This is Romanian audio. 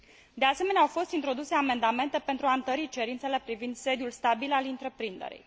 De asemenea, au fost introduse amendamente pentru a întări cerințele privind sediul stabil al întreprinderii.